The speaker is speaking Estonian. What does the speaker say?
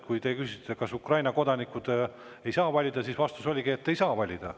Kui te küsisite, kas Ukraina kodanikud ei saa valida, siis vastus oligi, et ei saa valida.